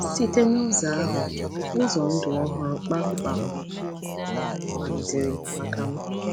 Site n’ụzọ ahụ, ụzọ ndụ ọhụrụ kpamkpam malitere maka m.